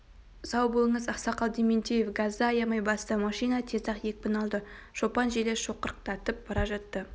сау болыңыз ақсақал дементьев газды аямай басты машина тез-ақ екпін алды шопан желе шоқырақтатып бара жатты